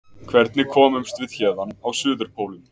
Hvernig komumst við héðan á Suðurpólinn?